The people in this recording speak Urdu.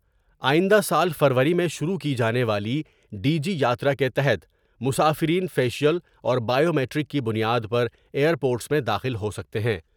آئندہ سال فروری میں شروع کی جانے والی ڈی جی یاترا کے تحت مسافرین فیشیل اور بائیومیٹرک کی بنیاد پر ایئر پورٹس میں داخل ہو سکتے ہیں ۔